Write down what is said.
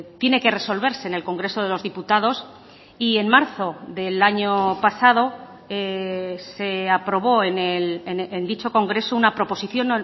tiene que resolverse en el congreso de los diputados y en marzo del año pasado se aprobó en dicho congreso una proposición